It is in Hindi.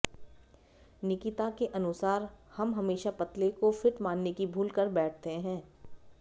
निकिता के अनुसार हम हमेशा पतले को फिट मानने की भूल कर बैठते हैं